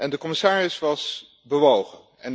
En de commissaris was bewogen.